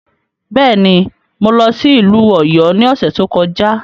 Bẹ́ẹ̀ ni, mo lọ sí ìlú Ọ̀yọ́ ní ọ̀sẹ̀ tó kọjá.